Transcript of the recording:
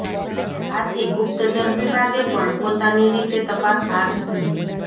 આથી ગુપ્તચર વિભાગે પણ પોતાની રીતે તપાસ હાથ ધરી